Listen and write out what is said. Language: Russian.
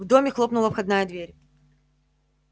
в доме хлопнула входная дверь